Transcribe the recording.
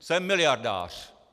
Jsem miliardář.